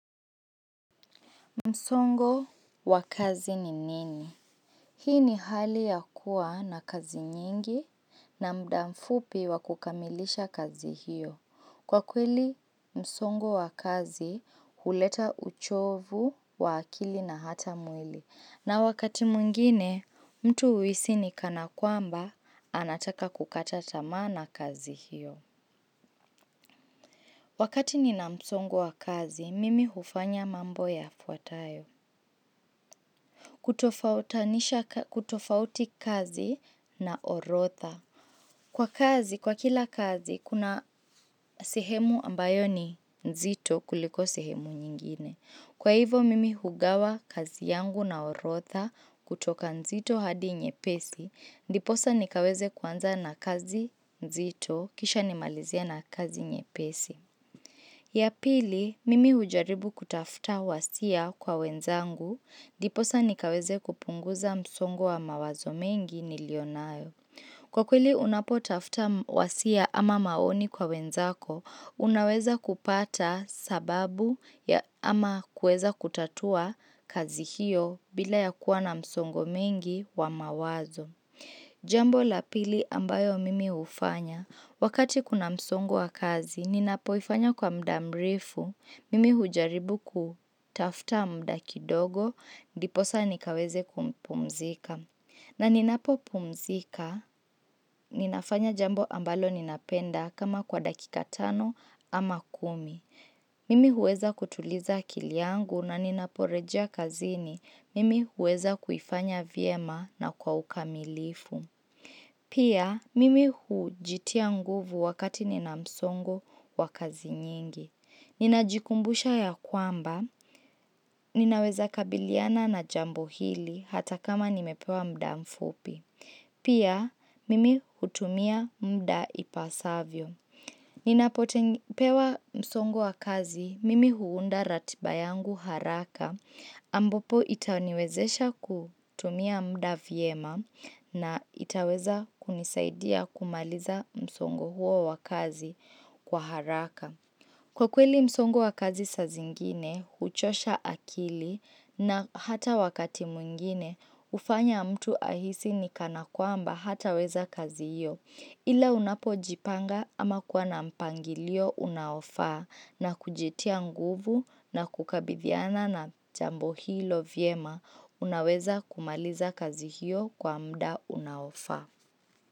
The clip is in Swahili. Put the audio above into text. Msongo wa kazi ni nini? Hii ni hali ya kuwa na kazi nyingi na mdamfupi wa kukamilisha kazi hiyo. Kwa kweli, msongo wa kazi huleta uchovu wa akili na hata mwili. Na wakati mwngine, mtu huhisi ni kana kwamba, anataka kukata tama na kazi hiyo. Wakati ni na msongo wa kazi, mimi hufanya mambo yafuatayo. Kutofauti kazi na orodha Kwa kazi, kwa kila kazi, kuna sehemu ambayo ni nzito kuliko sihemu nyingine. Kwa hivo, mimi hugawa kazi yangu na orodha kutoka nzito hadi nyepesi ndiposa nikaweze kwanza na kazi nzito, kisha nimalizie na kazi nyepesi ya pili, mimi ujaribu kutafuta wasia kwa wenzangu diposa nikaweze kupunguza msongo wa mawazo mengi nilionayo. Kwa kweli unapotafta wasia ama maoni kwa wenzako, unaweza kupata sababu ya ama kueza kutatua kazi hiyo bila ya kuwa na msongo mengi wa mawazo. Jambo la pili ambayo mimi hufanya, wakati kuna msongo wa kazi, ninapoifanya kwa muda mrefu, mimi ujaribu kutafta mda kidogo, Ndiposa nikaweze kumpumzika. Na ninapo pumzika, ninafanya jambo ambalo ninapenda kama kwa dakika tano ama kumi. Mimi huweza kutuliza akili yangu na ninaporeja kazini, Mimi huweza kuifanya vyema na kwa ukamilifu. Pia, mimi hujitia nguvu wakati nina msongo wa kazi nyingi. Ninajikumbusha ya kwamba, Ninaweza kabiliana na jambo hili hata kama nimepewa mda mfupi. Pia, mimi hutumia mda ipasavyo. Ninapoteng ninapopewa msongo wa kazi, mimi huunda ratiba yangu haraka ambapo itaniwezesha kutumia mda viema na itaweza kunisaidia kumaliza msongo huo wa kazi kwa haraka. Kwa kweli msongo wa kazi saa zingine, huchosha akili na hata wakati mwngine, hufanya mtu ahisi ni kana kwamba hataweza kazi hiyo. Ila unapojipanga ama kuwa na mpangilio unaofaa na kujitia nguvu na kukabithiana na jambo hilo vyema, unaweza kumaliza kazi hiyo kwa mda unaofa.